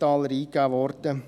Dort heisst es: